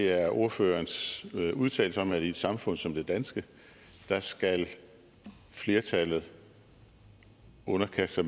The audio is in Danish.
er ordførerens udtalelse om at i et samfund som det danske skal flertallet underkaste